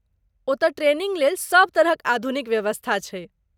ओतय, ट्रेनिंग लेल सभ तरहक आधुनिक व्यवस्था छै।